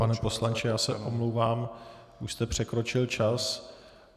Pane poslanče, já se omlouvám, už jste překročil čas.